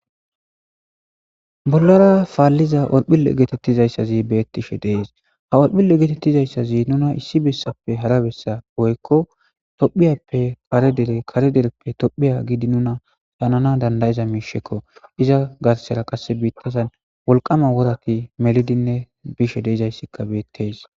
Bollara palliza orophille gettetizayssazi betishe de'ees.oropilla gettetizayssazi nuuna issi bessappe hara bessa woyko tophphiyappe hara dere kare dereppe tophphiya giidi nuna paalana dandayza miishshakko. Eza garssera qaase biitazan wolqqam woratti mellidinne biishe de'zayssi bettes.